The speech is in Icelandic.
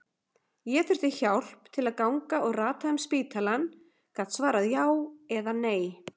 Ég þurfti hjálp til að ganga og rata um spítalann, gat svarað já eða nei.